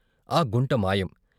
ఆ గుంట మాయం.